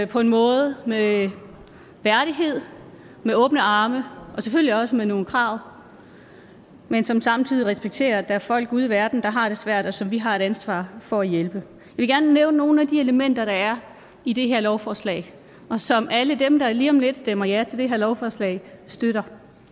på en måde med værdighed med åbne arme og selvfølgelig også med nogle krav men som samtidig respekterer at der er folk ude i verden der har det svært og som vi har et ansvar for at hjælpe jeg vil gerne nævne nogle af de elementer der er i det her lovforslag og som alle dem der lige om lidt stemmer ja til det her lovforslag støtter